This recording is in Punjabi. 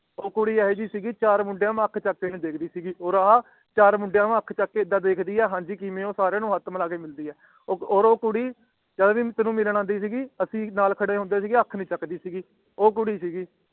ਉਹ ਕੁੜੀ ਸੀਗੀ ਕਿ ਚਾਰ ਮੁੰਡਿਆਂ ਦੇ ਸਾਮਣੇ ਆਖ ਚਾਕ ਕੇ ਨੀ ਦੇਖਦੀ ਸੀਗੀ ਓਰ ਆ ਚਾਰ ਮੁੰਡਿਆਂ ਨੂੰ ਆਖ ਚਾਕ ਕੇ ਐਵੇ ਦੇਖਦੀ ਆ ਨਾਲੇ ਸਾਰੇ ਮੁੰਡਿਆਂ ਨੂੰ ਹੱਥ ਮਿਲਾ ਕ ਪੁੱਛਦੀ ਹੈ ਕਿ ਹੈ ਕਿਹਵੇ ਹੋ ਓਰ ਊ ਕੁੜੀ ਜਦੋ ਮਿਲਣ ਆਉਂਦੀ ਸੀਗੀ ਤੇ ਅੱਸੀ ਸਾਰੇ ਨਾਲ ਖੇਡ ਹੋਂਦੇ ਸੀਗੇ ਤੇ ਅੱਖ ਨੀ ਚਕਦੀ ਸੀਗੀ ਉਹ ਕੁੜੀ ਸੀਗੀ